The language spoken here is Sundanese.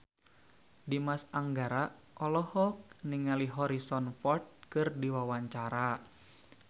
Dimas Anggara olohok ningali Harrison Ford keur diwawancara